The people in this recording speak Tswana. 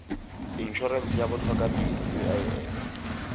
in orense ya botlhokatiro uif